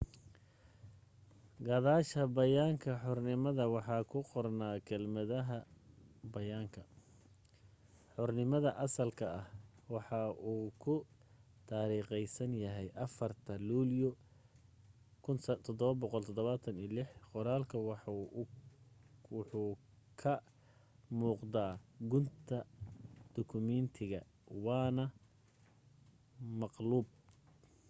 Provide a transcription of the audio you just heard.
gadaasha bayaanka xornimada waxa ku qornaa kelmadaha bayaanka xornimada asalka ah waxa uu ku taariikhaysan yahay 4ta luulyo 1776”. qoraalku waxa uu ka muuqda gunta dukumeentiga waana maqluub